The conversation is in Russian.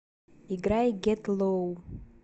играй гет лоу